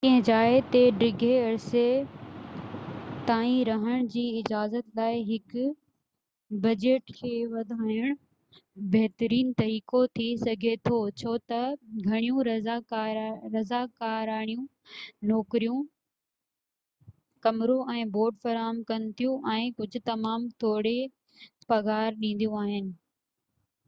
ڪنهن جاءِ تي ڊگهي عرصي تائين رهن جي اجازت لاءِ هڪ بجيٽ کي وڌائن بھترين طريقو ٿي سگھي ٿو ڇو ته گهڻيون رضاڪاراڻيون نوڪريون ڪمرو ۽ بورڊ فراهم ڪن ٿيون ۽ ڪجھ تمام ٿوڙي پگهار ڏينديون آهن